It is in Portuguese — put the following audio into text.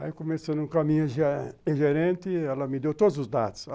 Aí começando com a minha gerente, ela me deu todos os dados.